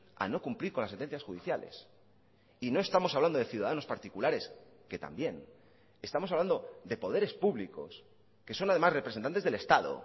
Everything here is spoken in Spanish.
a no cumplir con las sentencias judiciales y no estamos hablando de ciudadanos particulares que también estamos hablando de poderes públicos que son además representantes del estado